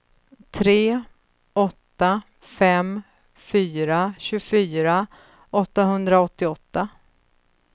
tre åtta fem fyra tjugofyra åttahundraåttioåtta